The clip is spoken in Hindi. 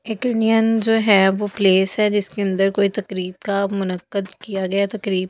एक इंडियन जो है वो प्लेस है जिसके अंदर कोई तकरीब का मनकद किया गया तकरीब--